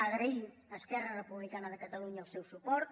agrair a esquerra republicana de catalunya el seu suport